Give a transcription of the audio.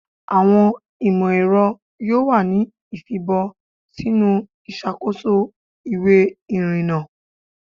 Awọn imọ-ẹrọ yoo wa ni ifibọ sinu iṣakoso iwe irinna